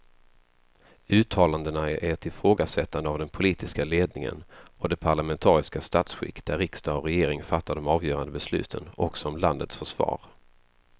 Uttalandena är ett ifrågasättande av den politiska ledningen och det parlamentariska statsskick där riksdag och regering fattar de avgörande besluten också om landets försvar.